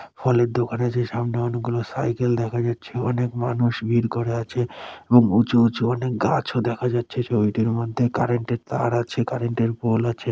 ফলের দোকানে যে সামনে অনেকগুলো সাইকেল দেখা যাচ্ছে অনেক মানুষ ভিড় করে আছে। এবং উঁচু উঁচু অনেক গাছও দেখা যাচ্ছে ছবিটির মধ্যে কারেন্টের তার আছে কারেন্টের পোল আছে।